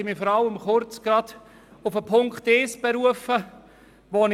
Ich möchte mich zuerst vor allem zu Ziffer 1 äussern.